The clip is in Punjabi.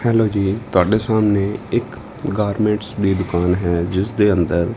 ਹੈਲੋ ਜੀ ਤੁਹਾਡੇ ਸਾਹਮਣੇ ਇੱਕ ਗਾਰਮੈਂਟਸ ਦੀ ਦੁਕਾਨ ਹੈ ਜਿਸ ਦੇ ਅੰਦਰ --